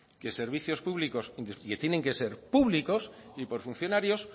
que servicios públicos que tienen que ser públicos y por funcionarios